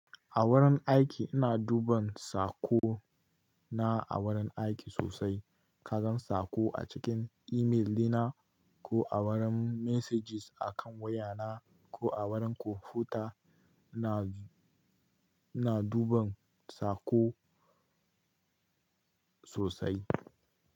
A wurin aiki ina duban saƙo na a wurin aiki sosai. Kagan saƙo a cikin imel dina ko a wurin messages a kan wayana ko a wurin kwamfuta ina, ina duban saƙo sosai.